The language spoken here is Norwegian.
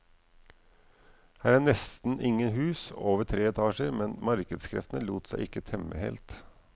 Her er nesten ingen hus over tre etasjer, men markedskreftene lot seg ikke temme helt.